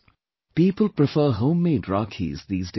People prefer homemade Rakhis these days